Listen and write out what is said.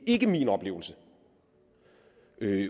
ikke min oplevelse